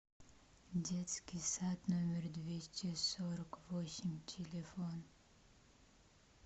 детский сад номер двести сорок восемь телефон